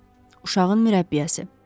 Bəli, uşağın mürəbbiyəsi.